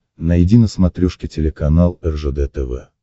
найди на смотрешке телеканал ржд тв